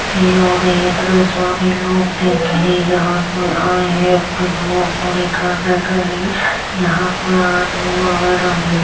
ये और ये इतने सारे लोग देखे हैं। यहाँ पे आये हैं अपनी दुआ पूरी करने के लिए। यहाँ पे आदमी वगैरा भी हैं।